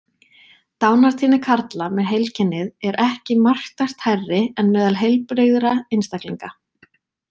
Dánartíðni karla með heilkennið er ekki marktækt hærri en meðal heilbrigðra einstaklinga.